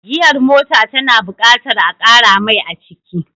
Giyar mota ta na buƙatar a ƙara mai aciki